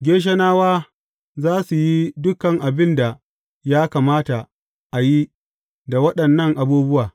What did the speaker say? Geshonawa za su yi dukan abin da ya kamata a yi da waɗannan abubuwa.